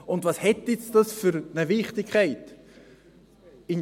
Und welche Wichtigkeit hat das jetzt?